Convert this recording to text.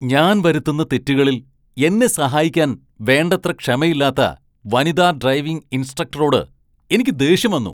ഞാൻ വരുത്തുന്ന തെറ്റുകളിൽ എന്നെ സഹായിക്കാൻ വേണ്ടത്ര ക്ഷമയില്ലാത്ത വനിതാ ഡ്രൈവിംഗ് ഇൻസ്ട്രക്ടറോട് എനിക്ക് ദേഷ്യം വന്നു .